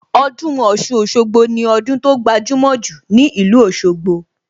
Ọdún Ọ̀ṣun-Òṣogbo ni ọdún tó gbajumo jù ní ìlú Òsogbo